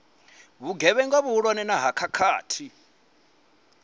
vhugevhenga vhuhulwane na ha khakhathi